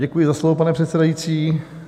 Děkuji za slovo, pane předsedající.